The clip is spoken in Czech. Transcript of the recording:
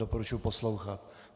Doporučuji poslouchat.